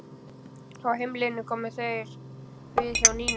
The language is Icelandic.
Á heimleiðinni komu þeir við hjá Nínu.